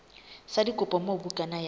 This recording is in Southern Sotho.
sa dikopo moo bukana ya